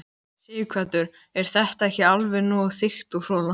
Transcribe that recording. Sighvatur: Er þetta ekki alveg nógu þykkt og svona?